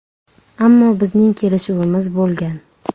Ammo bizning kelishuvimiz bo‘lgan.